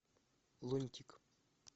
лунтик